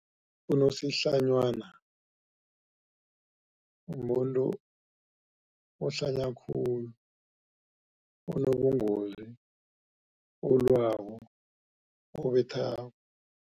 Unosihlanywana umuntu ohlanya khulu, onobungozi, olwako, obethako.